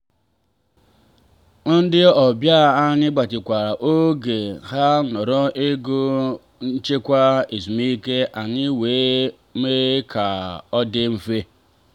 ndị ọbịa anyị gbatịkwuru oge ha nọrọ ego nchekwa ezumike anyị wee mee ka ọ dị mfe